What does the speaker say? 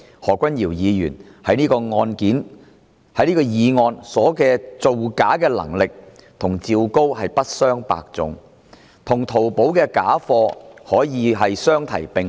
何君堯議員在這項議案的造假能力與趙高可謂不相伯仲，與淘寶的假貨可以相提並論。